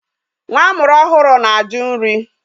Nwa amụrụ ọhụrụ na-ajụ nri.